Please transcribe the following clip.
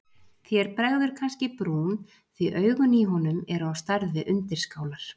Þér bregður kannski í brún því augun í honum eru á stærð við undirskálar.